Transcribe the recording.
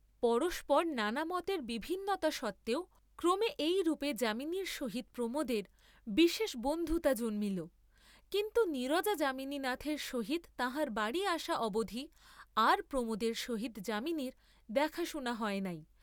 পরস্পর নানা মতের বিভিন্নতা সত্ত্বেও ক্রমে এইরূপে যামিনীর সহিত প্রমােদের বিশেষ বন্ধুতা জন্মিল; কিন্তু নীরজা যামিনীনাথের সহিত তাঁহার বাড়ী আসা অবধি আর প্রমােদের সহিত যামিনীর দেখা শুনা হয় নাই।